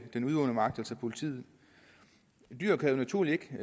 den udøvende magt altså politiet dyret kan jo naturligvis